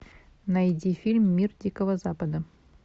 найди фильм мир дикого запада